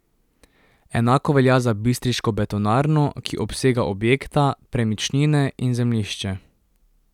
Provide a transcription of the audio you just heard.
Enako velja za bistriško betonarno, ki obsega objekta, premičnine in zemljišče.